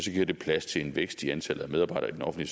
giver det plads til en vækst i antallet af medarbejdere i